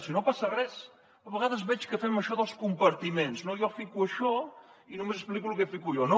si no passa res a vegades veig que fem això dels compartiments no jo fico això i només explico el que fico jo